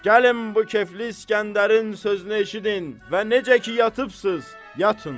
Gəlin bu Kəflli İsgəndərin sözünü eşidin və necə ki yatıbsız, yatın.